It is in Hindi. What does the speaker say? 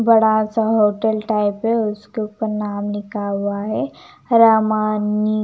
बड़ा सा होटल टाइप है उसके ऊपर नाम लिखा हुआ है रामानी--